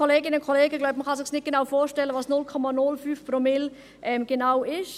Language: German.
Ich glaube, dass man sich nicht genau vorstellen kann, was 0,05 Promille genau sind.